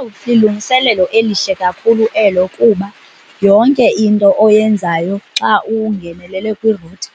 Owu, lilungiselelo elihle kakhulu elo kuba yonke into oyenzayo xa ungenelele kwi-router